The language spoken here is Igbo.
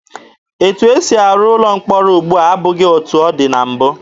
Etu esi arụ ụlọ mkpọrọ ugbua abụghị etu ọ dị na mbụ.